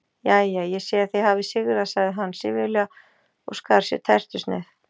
Jæja, ég sé að þið hafið sigrað sagði hann syfjulega og skar sér tertusneið.